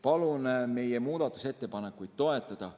Palun meie muudatusettepanekuid toetada.